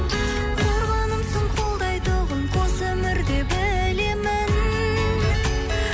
қорғанымсың қолдайтұғын қос өмірде білемін